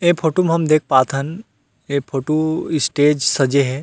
ऐ फोटो म हम देख पाथन ऐ फोटो स्टेज सजे हे।